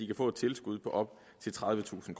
kan få et tilskud på op til tredivetusind